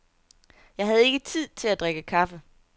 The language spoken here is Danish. Jeg havde ikke tid til at drikke kaffe.